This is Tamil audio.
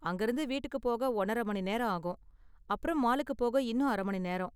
அங்கயிருந்து வீட்டுக்கு போக ஒன்னர மணி நேரம் ஆகும், அப்பறம் மாலுக்கு போக இன்னும் அர மணி நேரம்.